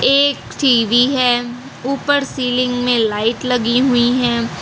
एक टी_वी है ऊपर सीलिंग में लाइट लगी हुई हैं।